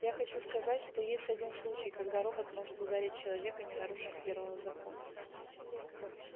я хочу сказать что есть один случай когда робот может ударить человека не нарушив первого закона